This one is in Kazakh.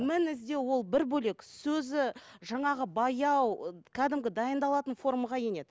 мін іздеу ол бір бөлек сөзі жаңағы баяу кәдімгі дайындалатын формаға енеді